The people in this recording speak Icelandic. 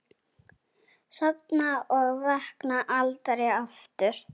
Sofna og vakna aldrei aftur.